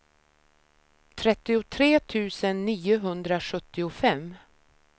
trettiotre tusen niohundrasjuttiofem